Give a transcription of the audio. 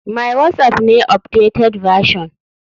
My whatsapp ne updated version.